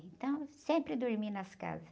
Então, sempre dormi nas casas.